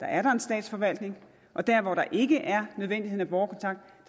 er der en statsforvaltning og der hvor der ikke er nødvendigheden af borgerkontakt